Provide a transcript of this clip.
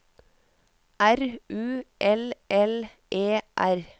R U L L E R